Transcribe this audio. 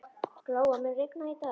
Glóa, mun rigna í dag?